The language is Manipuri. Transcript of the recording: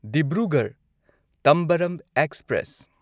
ꯗꯤꯕ꯭ꯔꯨꯒꯔꯍ ꯇꯝꯕꯔꯝ ꯑꯦꯛꯁꯄ꯭ꯔꯦꯁ